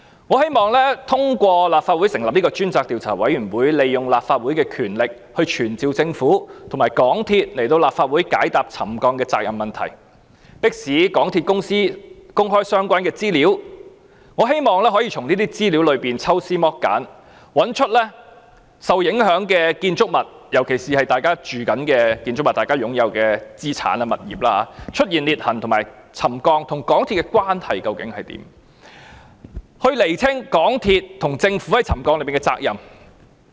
我希望通過立法會成立專責委員會，運用立法會的權力傳召政府和港鐵公司高層來立法會解答沉降的責任問題，迫使港鐵公司公開相關資料，我希望可以從這些資料中抽絲剝繭，找出在受影響的建築物，特別是市民正在居住的建築物、市民擁有的資產和物業，出現裂痕和沉降與港鐵公司工程有何關係，以釐清港鐵公司和政府在沉降事件上的責任。